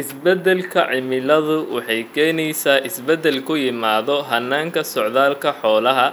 Isbeddelka cimiladu waxay keenaysaa isbeddel ku yimaadda hannaankii socdaalka xoolaha,